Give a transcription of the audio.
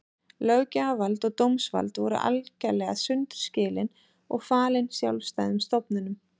Löggjafarvald og dómsvald voru algerlega sundur skilin og falin sjálfstæðum stofnunum.